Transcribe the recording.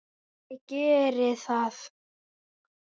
Allir geri það.